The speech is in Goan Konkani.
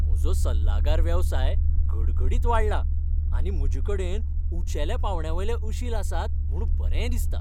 म्हजो सल्लागार वेवसाय घडघडीत वाडला आनी म्हजे कडेन उंचेल्या पांवड्यावयले अशील आसात म्हूण बरें दिसता.